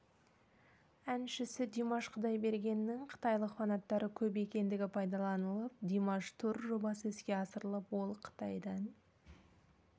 әншісі димаш құдайбергеннің қытайлық фанаттары көп екендігі пайдаланылып димаш тур жобасы іске асырылып ол қытайдан